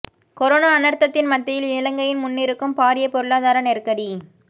corona அனர்த்தத்தின் மத்தியில் இலங்கையின் முன்னிருக்கும் பாரிய பொருளாதார நெருக்கடி